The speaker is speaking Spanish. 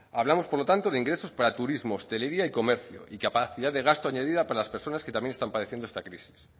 hablamos por lo tanto de ingresos para turismo hostelería y comercio y capacidad de gasto añadida para las personas que también están padeciendo esta crisis